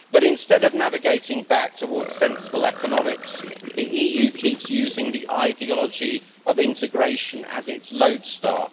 But instead of navigating back toward sensible economics, the EU keeps using the ideology of integration as its lodestar.